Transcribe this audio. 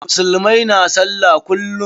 Musulmai na sallah kullum.